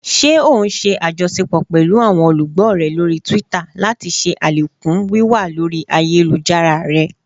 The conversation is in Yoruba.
Ṣe o n ṣe ajọṣepọ pẹlu awọn olugbo rẹ lori Twitter lati ṣe alekun wiwa lori ayelujara rẹ?